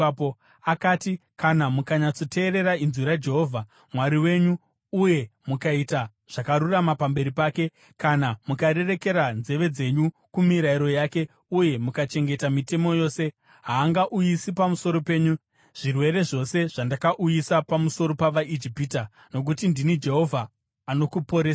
Akati, “Kana mukanyatsoteerera inzwi raJehovha Mwari wenyu uye mukaita zvakarurama pamberi pake, kana mukarerekera nzeve dzenyu kumirayiro yake uye mukachengeta mitemo yose, haangauyisi pamusoro penyu zvirwere zvose zvandakauyisa pamusoro pavaIjipita, nokuti ndini Jehovha anokuporesai.”